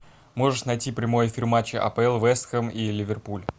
можешь найти прямой эфир матча апл вест хэм и ливерпуль